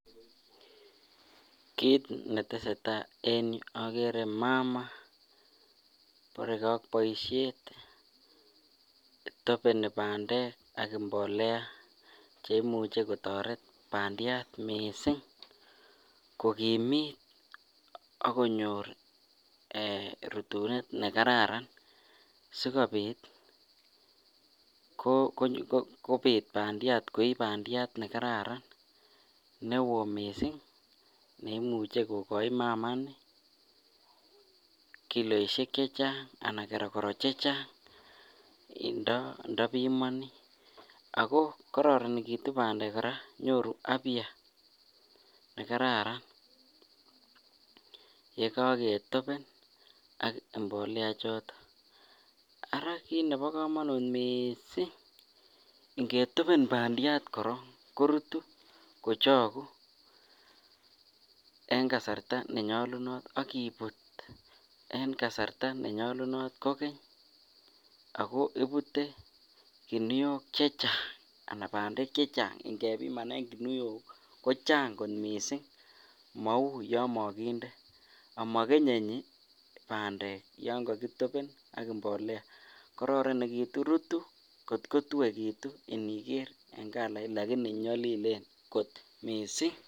Kiit neteseta en yuu okere mama neborekee ak boishet netopeni bandek ak mbolea cheimuche koteret bandiat mising ko kimiit ak konyor Um rutunet nekararan sikobit kobiit bandiat koii bandiat nekararan, newo mising neimuche kokoii mama nii kiloishek cechang anan keroro chechang indobimoni ak ko kororonekitu bandek kora nyoru afya yekoketopen ak mbolea choton, ara kiit nebokomonut mising ingetopen bandiat korong korutu kochoku en kasarta nenyolunot ak ibut en kasarta nenyolunot kokeny ak ko ibute kinuok chechang anan bandek chechang ing'ebimanen kinuok kochang kot mising mouu yoon mokinde amokenyenyi bandek yoo kokitopen ak mbolea kororonekitu, rutuu kot ko tuekitu iniker en kalait lakini nyolilen kot mising.